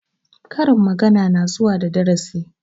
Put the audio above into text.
Karin magana na zuwa da darasi